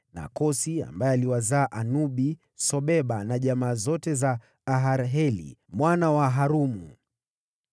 na Kosi ambaye aliwazaa Anubi, Sobeba na jamaa zote za Aharheli mwana wa Harumu.